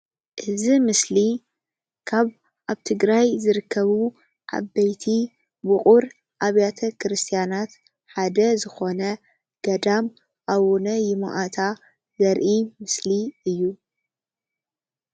እዚ ምስሊ ካብ አብ ትግራይ ዝርከቡ ዓበይቲ ውቅር አብያተ ክርስትያናት ሓደ ዝኮነ ገዳም አቡነ ይምአታ ዘርኢ ምስሊ እዩ፡፡